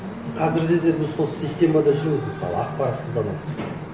қазірде де біз сол системада жүрміз мысалы ақпаратсыздану